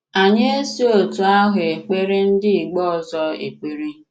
Anyị esi otú áhụ ekpere ndị ìgbo ọzọ ekpere